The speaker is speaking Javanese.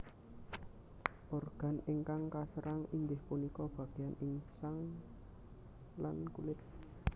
Organ ingkang kaserang inggih punika bagéyan insang lan kulit